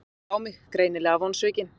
Hún horfði á mig, greinilega vonsvikin.